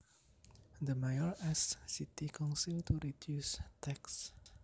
The mayor asked city council to reduce taxes